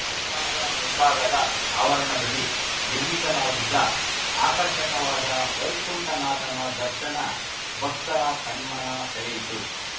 ದೇವಸ್ಥಾನದ ಮುಂಭಾಗದ ಆವರಣದಲ್ಲಿ ನಿರ್ಮಿಸಲಾಗಿದ್ದ ಆಕರ್ಷಕವಾದ ವೈಕುಂಠನಾಥನ ದರ್ಶನ ಭಕ್ತರ ಕಣ್ಮನ ಸೆಳೆಯಿತು